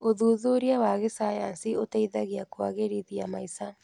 ũthuthuria wa gĩcayanci ũteithagia kũagĩrithia maica.